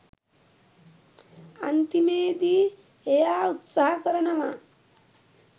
අන්තිමේදී එයා උත්සහ කරනවා